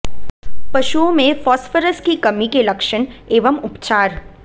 पशुओं में फॉस्फोरस की कमी के लक्षण एवं उपचार